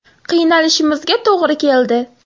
Qiynalishimizga to‘g‘ri keldi.